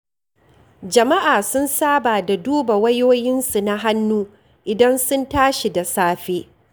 Jama'a sun saba da duba wayoyinsu na hannu, idan sun tashi da safe.